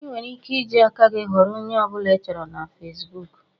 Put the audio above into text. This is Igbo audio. Ị nwere ike iji aka gị ghọrọ onye ọbụla ị chọrọ iso na Fesbụụk